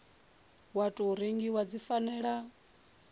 wa tou rengiwa dzi fanela